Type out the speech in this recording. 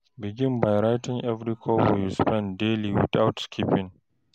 Begin by writing every kobo you spend daily without skipping.